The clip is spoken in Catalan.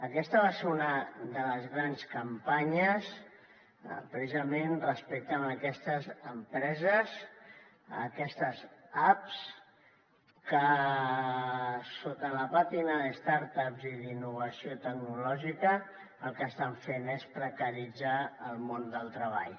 aquesta va ser una de les grans campanyes precisament respecte a aquestes empreses a aquestes apps que sota la pàtina de start ups i d’innovació tecnològica el que estan fent és precaritzar el món del treball